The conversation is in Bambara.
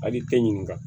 Ali tɛ ɲininka